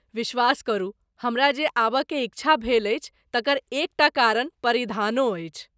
विश्वास करू, हमरा जे आबयकेँ इच्छा भेल अछि तकर एकटा कारण परिधानो अछि।